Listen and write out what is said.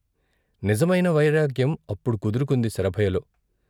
నిజమైన వైరాగ్యం అప్పుడు కుదురుకుంది శరభయ్యలో.